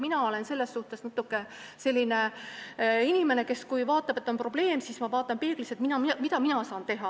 Mina olen selline inimene, et kui ma näen probleemi, siis ma vaatan peeglisse, et mida mina saan teha.